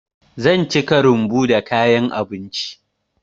Zan cika rumbu da kayan abinci.